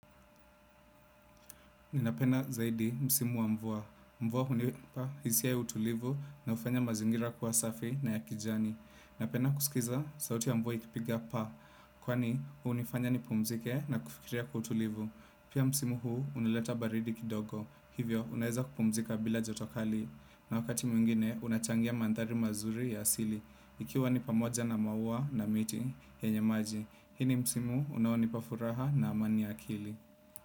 Ninapenda zaidi msimu wa mvua. Mvua hunipa hisia ya utulivu na hufanya mazingira kuwa safi na ya kijani. Napenda kusikiza sauti ya mvua ikipiga paa. Kwani, hunifanya nipumzike na kufikiria kwa utulivu. Pia msimu huu hunileta baridi kidogo. Hivyo, unaeza kupumzika bila joto kali. Na wakati mwingine, unachangia mandhari mazuri ya asili. Ikiwa ni pamoja na maua na miti yenye maji. Hii ni msimu unaonipa furaha na amani ya akili.